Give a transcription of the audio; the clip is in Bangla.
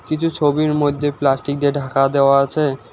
কিছু ছবির মধ্যে প্লাস্টিক দিয়ে ঢাকা দেওয়া আছে।